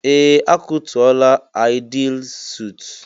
Ee! A kụtuola Aịdịil suut.